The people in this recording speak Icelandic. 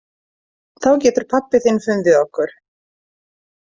Þá getur pabbi þinn fundið okkur.